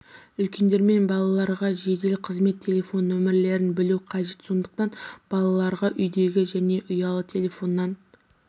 үлкендер мен балаларға жедел қызмет телефон нөмірлерін білу қажет сондықтан балаларға үйдегі және ұялы телефоннан